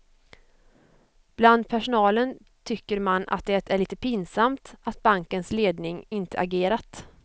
Bland personalen tycker man att det är lite pinsamt att bankens ledning inte agerat.